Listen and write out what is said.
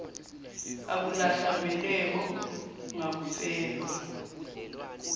akulahlwa mbeleko ngakufelwa